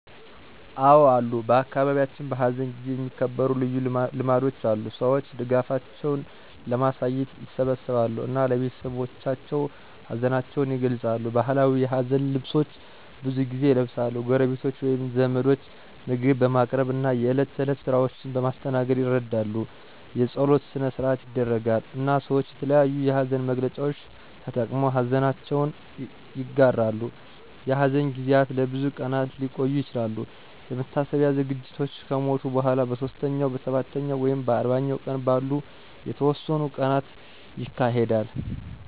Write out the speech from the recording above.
አዎ አሉ በአካባቢያችን፣ በሐዘን ጊዜ የሚከበሩ ልዩ ልማዶች አሉ። ሰዎች ድጋፋቸውን ለማሳየት ይሰበሰባሉ እና ለቤተሰቦቻቸው ሀዘናቸውን ይገልጻሉ። ባህላዊ የሀዘን ልብሶች ብዙ ጊዜ ይለብሳሉ፣ ጎረቤቶች ወይም ዘመዶች ምግብ በማቅረብ እና የእለት ተእለት ስራዎችን በማስተናገድ ይረዳሉ። የጸሎት ሰነ-ሰአት ይደረጋል፣ እና ሰወች የተለያዮ የሀዘን መግለጫዎች ተጠቅመው ሀዘነችውን ይጋራሉ። የሐዘን ጊዜያት ለብዙ ቀናት ሊቆዩ ይችላሉ፣ የመታሰቢያ ዝግጅቶች ከሞቱ በኋላ በሦስተኛው፣ በሰባተኛው ወይም በአርባኛው ቀን ባሉ የተወሰኑ ቀናት ይካሄዳሉ።